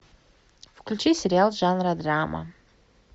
включи сериал жанра драма